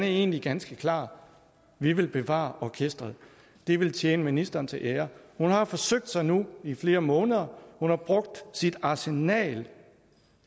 er egentlig ganske klar vi vil bevare orkestret det ville tjene ministeren til ære hun har forsøgt sig nu i flere måneder hun har brugt sit arsenal